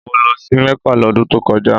Mo lọ sí Mecca lọ́dun tó kọjá